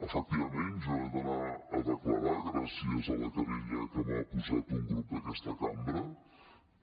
efectivament jo he d’anar a declarar gràcies a la querella que m’ha posat un grup d’aquesta cambra